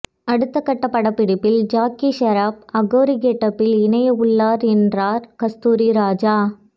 அடுத்த கட்டப் படப்பிடிப்பில் ஜாக்கி ஷெராப் அகோரி கெட்டப்பில் இனைய உள்ளார் என்றார் கஸ்தூரிராஜா